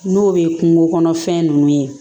N'o ye kungo kɔnɔfɛn nunnu ye